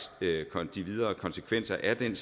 de videre konsekvenser af den